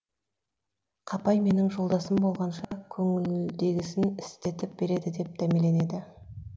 қапай менің жолдасым болғанша көңілдегісін істетіп береді деп дәмеленеді